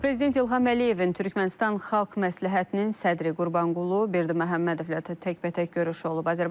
Prezident İlham Əliyevin Türkmənistan Xalq Məsləhətinin sədri Qurbanqulu Berdiməhəmmədovla təkbətək görüşü olub.